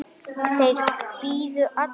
Þeir biðu allir.